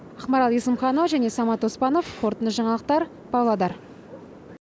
ақмарал есімханова және самат оспанов қорытынды жаңалықтар павлодар